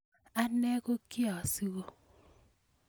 anee kokiasiku